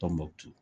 Tɔnbukutu